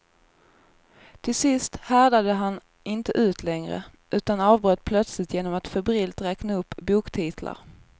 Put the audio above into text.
Till sist härdade han inte ut längre, utan avbröt plötsligt genom att febrilt räkna upp boktitlar.